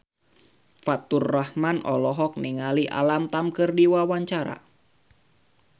Faturrahman olohok ningali Alam Tam keur diwawancara